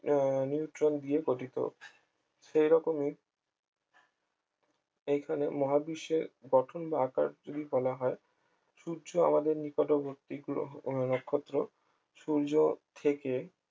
আহ neutron দিয়ে গঠিত সেই রকমই এখানে মহাবিশ্বের গঠন বা আকার যদি বলা হয় সূর্য আমাদের নিকটবর্তী গ্রহ আহ নক্ষত্র সূর্য থেকে